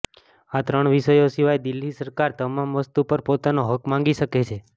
આ ત્રણ વિષયો સિવાય દિલ્હી સરકાર તમામ વસ્તુ પર પોતાનો હક માંગી શકે છે